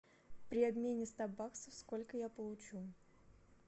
при обмене ста баксов сколько я получу